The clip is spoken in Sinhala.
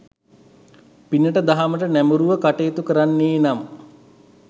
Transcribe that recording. පිනට දහමට නැඹුරුව කටයුතු කරන්නේ නම්